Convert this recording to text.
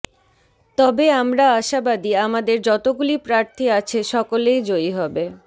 তবে আমরা আশাবাদি আমাদের যতগুলি প্রার্থী আছে সকলেই জয়ী হবে